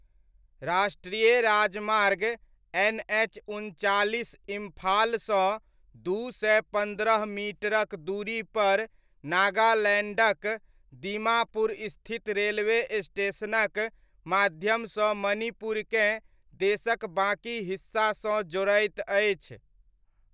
राष्ट्रीय राजमार्ग एनएच उनचालिस इम्फाल सँ दू सय पन्द्रह मीटरक दूरीपर नागालैण्डक दीमापुर स्थित रेलवे स्टेशनक माध्यमसँ मणिपुरकेँ देशक बाकी हिस्सासँ जोड़ैत अछि।